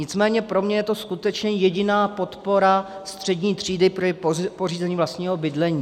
Nicméně pro mě je to skutečně jediná podpora střední třídy k pořízení vlastního bydlení.